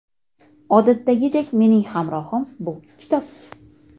Odatdagidek, mening hamrohim bu - kitob.